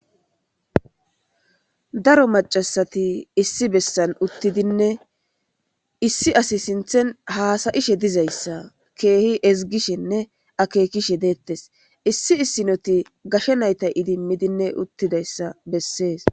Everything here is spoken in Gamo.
Daro macasati issi bessan uttidinne issi asi sinthen haasayishe dizayssa keehi ezigishenne akekishe deettes issi issinoti gashe nayta idimmidinne uttidayssa bessees.